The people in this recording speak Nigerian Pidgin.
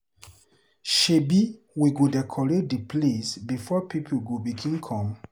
Shebi we go decorate di place before pipo go begin come.